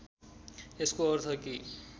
यसको अर्थ के